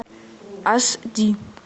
аш ди